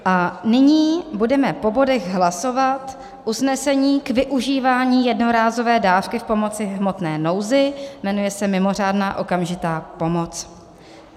A nyní budeme po bodech hlasovat usnesení k využívání jednorázové dávky pomoci v hmotné nouzi, jmenuje se mimořádná okamžitá pomoc: